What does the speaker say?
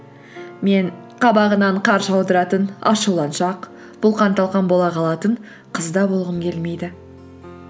мен қабағынан қар жаудыратын ашуланшақ бұлқан талқан бола қалатын қыз да болғым келмейді